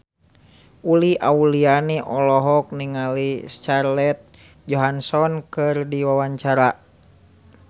Uli Auliani olohok ningali Scarlett Johansson keur diwawancara